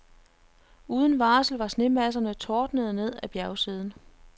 Uden varsel var snemasserne tordnet ned ad bjergsiden.